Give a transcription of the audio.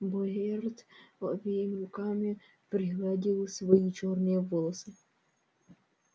богерт обеими руками пригладил свои чёрные волосы